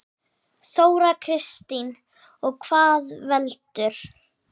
Þóra Kristín: Og hvað veldur?